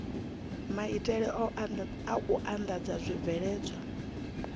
maitele a u andadza zwibveledzwa